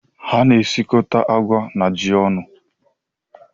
A na-esikọta agwa na ji ọnụ.